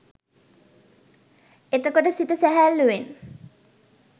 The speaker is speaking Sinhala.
එතකොට සිත සැහැල්ලුවෙන්